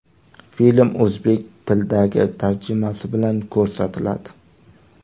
Film o‘zbek tilidagi tarjimasi bilan ko‘rsatiladi.